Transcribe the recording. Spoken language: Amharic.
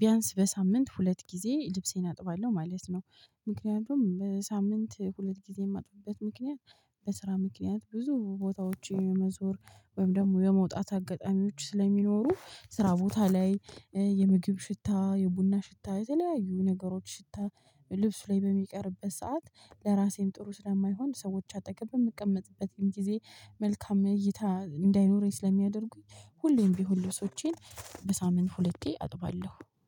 ቢያንስ በሳምንት ሁለት ጊዜ ልብሴን አጥባለሁ። ማለት ነው ምክንያቱም በሳምንት ሁለት ጊዜ የማጥፉበት ምክንያት በስራ ምክንያት ብዙ ቦታዎች የመዞር ወይም ደግሞ የመውጣት አጋጣሚዎች ስለሚኖሩ ስራ ቦታ ላይ የምግብ ሽታ የቡና ሽታ የተለያዩ ነገሮች ሽታ ልብስ ላይ በሚቀርበት ሰዓት ለራሴም ጥሩ ስለማይሆን ሰዎች አጠቅም በምቀመጥበትም ጊዜ መልካም እይታ እንዳይኖረኝ ስለሚያደርጉኝ ሁሌም ቢሆን ልብሶቼን በሳምንት ሁለቴ አጥባለሁ፣